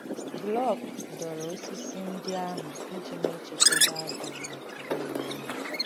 Glück dọ̀rọ̀ òsìsì ndị àhụ̀ iji na-èchētà Baịbụl Làtviàn àhụ̀.